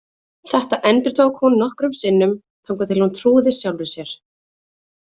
Þetta endurtók hún nokkrum sinnum, þangað til hún trúði sjálfri sér.